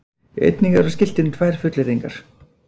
Einnig eru á skiltinu tvær fullyrðingar